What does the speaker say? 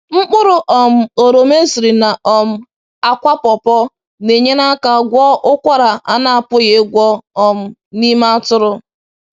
Mkpụrụ um oroma esiri na um akwa pọpọ́ na-enyere aka gwọọ ụkwara a na-apụghị ịgwọọ um n’ime atụrụ.